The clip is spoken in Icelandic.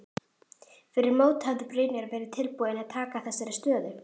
Fyrir mót hefði Brynjar verið tilbúinn að taka þessari stöðu?